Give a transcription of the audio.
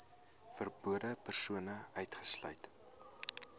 verbonde persone uitgesluit